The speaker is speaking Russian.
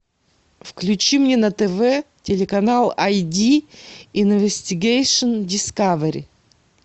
включи мне на тв телеканал ай ди иновистигейшн дискавери